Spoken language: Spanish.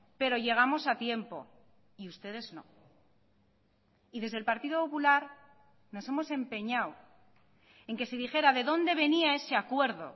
pero llegamos a tiempo y ustedes no y desde el partido popular nos hemos empeñado en que se dijera de dónde venía ese acuerdo